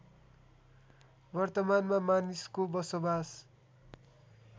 वर्तमानमा मानिसको बसोबास